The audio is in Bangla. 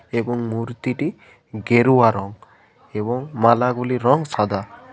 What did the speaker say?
এবং মূর্তিটি গেরুয়া রং এবং মালাগুলির রং সাদা।